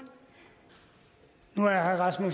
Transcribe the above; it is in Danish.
meget